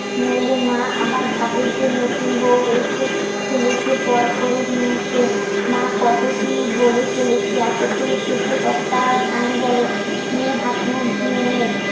নইলে মা আবার ভাববে যে নতুন বউ এসে ছেলেকে পর করে নিয়েছে মা কত কি বলে চলেছে এতক্ষনে চেঁচিয়ে কথাটা কানে গেল নিয়ে হাত, মুখ ধুয়ে নে